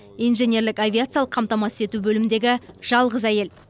инженерлік авиациялық қамтамасыз ету бөліміндегі жалғыз әйел